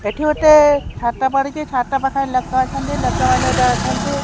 ଏଠି ଗୋଟେ ଛାତ ପଡ଼ିଛି ଛାତ ପାଖରେ ଲେକ ଅଛନ୍ତି ଲେକ ମାନେ ଯାଉଛନ୍ତି।